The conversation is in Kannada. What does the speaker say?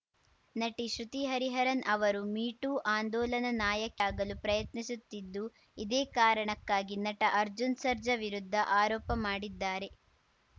ನಟಿ ಶ್ರುತಿ ಹರಿಹರನ್‌ ಅವರು ಮೀ ಟೂ ಆಂದೋಲನ ನಾಯಕಿಯಾಗಲು ಪ್ರಯತ್ನಿಸುತ್ತಿದ್ದು ಇದೇ ಕಾರಣಕ್ಕಾಗಿ ನಟ ಅರ್ಜುನ್‌ ಸರ್ಜಾ ವಿರುದ್ಧ ಆರೋಪ ಮಾಡಿದ್ದಾರೆ